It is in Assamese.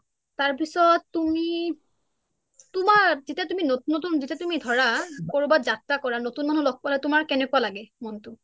তাৰ পিছত তুমি তোমাৰ যেতিয়া নতুন নতুন যেতিয়া তুমি ধৰা কৰোবাত যাত্ৰা কৰা নতুন মানুহ লগ পালে তোমাৰ কেনেকুৱা লাগে মনটো